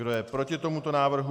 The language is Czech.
Kdo je proti tomuto návrhu?